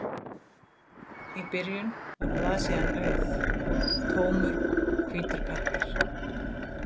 Í byrjun var blaðsíðan auð, tómur hvítur pappír.